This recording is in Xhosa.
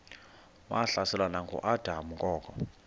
wahlaselwa nanguadam kok